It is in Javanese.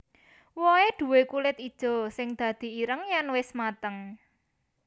Wohé duwé kulit ijo sing dadi ireng yèn wis mateng